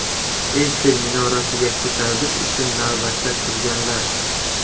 Eyfel minorasiga ko‘tarilish uchun navbatda turganlar.